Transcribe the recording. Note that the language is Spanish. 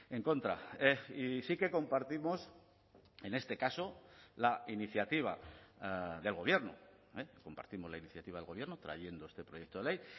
en contra y sí que compartimos en este caso la iniciativa del gobierno compartimos la iniciativa del gobierno trayendo este proyecto de ley